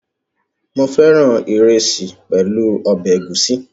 Mo féràn ìrẹsì pẹ̀lú ọbẹ̀ ẹ̀gúsí